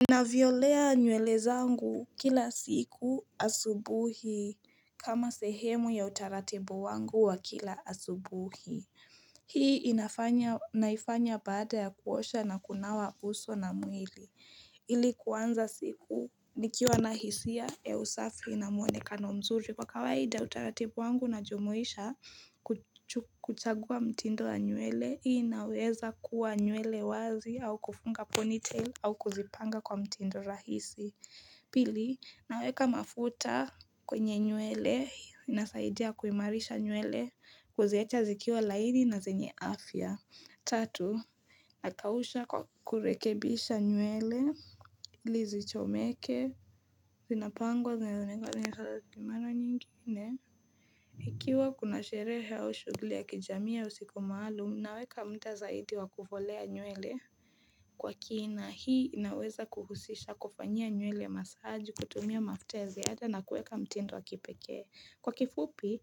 Ninavyolea nywele zangu kila siku asubuhi kama sehemu ya utaratibu wangu wa kila asubuhi Hii inafanya naifanya baada ya kuosha na kunawa uso na mwili Ili kuanza siku nikiwa na hisia ya usafi na mwonekano mzuri kwa kawaida utaratibu wangu na jumuisha kuchagua mtindo wa nywele Hii inaweza kuwa nywele wazi au kufunga ponytail au kuzipanga kwa mtindo rahisi Pili, naweka mafuta kwenye nywele, inasaidia kuimarisha nywele, kuziacha zikiwa laini na zenye afya Tatu, nakausha kwa kurekebisha nywele, ili zichomeke, zinapangwa zinezunegwa zinezunegwa zinezunegwa kimano nyingine Ikiwa kuna sherehe au shuguli ya kijamii au siku maalum naweka mda zaidi wa kufolea nywele Kwa kina hii inaweza kuhusisha kufanyia nywele massage kutumia mafuta ya ziada na kuweka mtindo wa kipekee Kwa kifupi